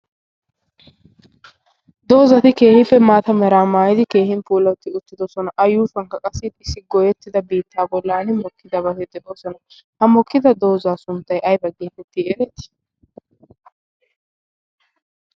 doozati keehiippe maata meraa maayidi keehin puulotti uttidosona. a yuushuwankka qassi issi goyettida biittaa bollan mokkidabati de7oosona. ha mokkida doozaa sunttai aiba geetettii ereetii?